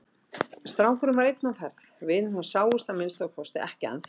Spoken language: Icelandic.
Strákurinn var einn á ferð, vinir hans sáust að minnsta kosti ekki ennþá.